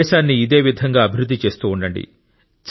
దేశాన్ని ఇదే విధంగా అభివృద్ధి చేస్తూ ఉండండి